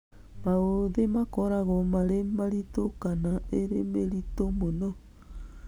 Maũthĩ makoragwo marĩ mĩritũ kana ĩrĩ mĩritũ mũno.